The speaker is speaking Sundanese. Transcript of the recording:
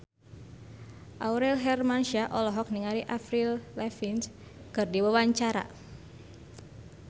Aurel Hermansyah olohok ningali Avril Lavigne keur diwawancara